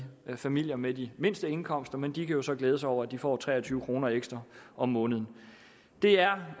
familier med de mindste indkomster men de kan jo så glæde sig over at de får tre og tyve kroner ekstra om måneden det er